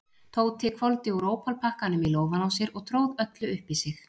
Tóti hvolfdi úr ópalpakkanum í lófann á sér og tróð öllu upp í sig.